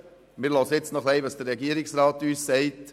Wir hören nun noch, was uns der Regierungsrat sagt.